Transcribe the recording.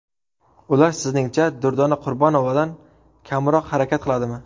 Ular sizningcha Durdona Qurbonovadan kamroq harakat qiladimi?!